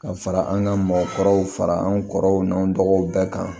Ka fara an ka mɔgɔkɔrɔw fara anw kɔrɔw n'anw dɔgɔw bɛɛ kan